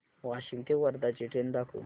वाशिम ते वर्धा ची ट्रेन दाखव